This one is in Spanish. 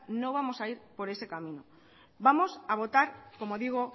no vamos a ir por ese camino vamos a votar como digo